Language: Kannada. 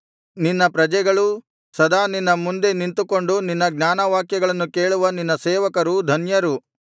ನಿನ್ನ ಪ್ರಜೆಗಳೂ ಸದಾ ನಿನ್ನ ಮುಂದೆ ನಿಂತುಕೊಂಡು ನಿನ್ನ ಜ್ಞಾನವಾಕ್ಯಗಳನ್ನು ಕೇಳುವ ನಿನ್ನ ಸೇವಕರೂ ಧನ್ಯರು